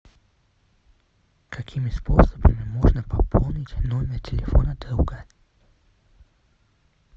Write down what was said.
какими способами можно пополнить номер телефона друга